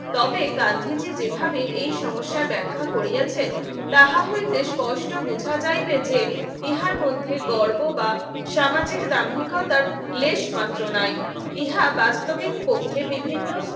তবে গান্ধীজি যেভাবে এই সমস্যার ব্যাখ্যা করিয়াছেন তাহা হয় বেশ কষ্ট বুঝা যায় যে ইহার মধ্যে গর্ব বা সামাজিক দাম্ভিকতার লেশমাত্র নাই ইহা বাস্তবে বিভিন্ন